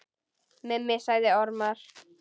Mummi sagði ormar.